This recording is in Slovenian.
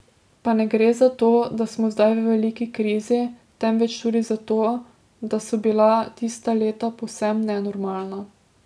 Pa ne gre zato, da smo zdaj v veliki krizi, temveč tudi za to, da so bila tista leta povsem nenormalna.